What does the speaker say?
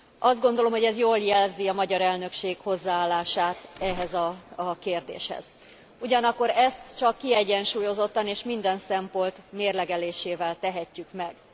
Azt gondolom, ez jól jelzi a magyar elnökség hozzáállását ehhez a kérdéshez, ugyanakkor ezt csak kiegyensúlyozottan és minden szempont mérlegelésével tehetjük meg.